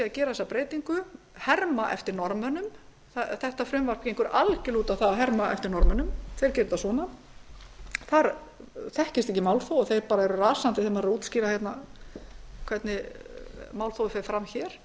þessu sé að herma eftir norðmönnum frumvarpið gengur algerlega út á að herma eftir norðmönnum þeir gera þetta svona þar þekkist ekki málþóf og þeir eru bara rasandi þegar maður útskýrir fyrir þeim hvernig málþófið fer fram hér